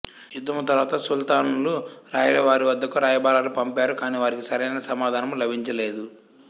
యుద్ధము తరువాత సుల్తానులు రాయల వారి వద్దకు రాయబారాలు పంపారు కాని వారికి సరైన సమాధానము లభించలేదు